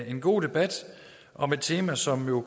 en god debat om et tema som jo